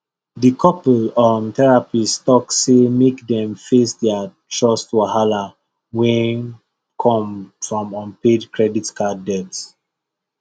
the couple um therapist talk say make dem face their trust wahala wey come from unpaid credit card debt